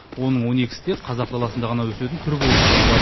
оның он екісі тек қазақ даласында ғана өсетін түрі болып саналады